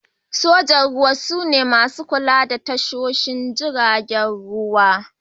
Sojan Ruwa su ne masu kula da tashoshin jiragen ruwa.